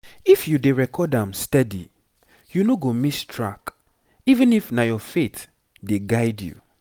if you dey record am steady you no go miss track even if na your faith dey guide you